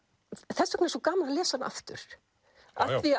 þess vegna er svo gaman að lesa hana aftur